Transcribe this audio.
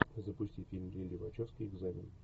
запусти фильм лилли вачовски экзамен